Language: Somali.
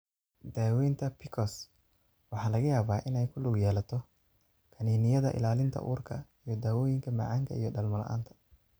Daawaynta PCOS waxa laga yaabaa inay ku lug yeelato kaniiniyada ilaalinta uurka iyo dawooyinka macaanka iyo dhalmo la'aanta.